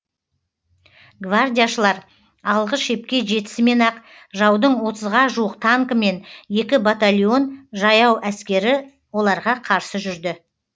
гвардияшылар алғы шепке жетісімен ақ жаудың отызға жуық танкі мен екі батальон жаяу әскері оларға қарсы жүрді